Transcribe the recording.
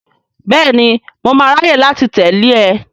Bẹ́ẹ̀ni, mo máa ráyè láti tẹ̀lé e.